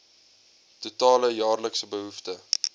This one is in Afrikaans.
totale jaarlikse behoefte